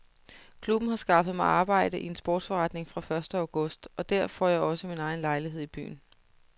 Klubben har skaffet mig arbejde i en sportsforretning fra første august og der får jeg også min egen lejlighed i byen.